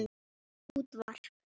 Ekkert útvarp.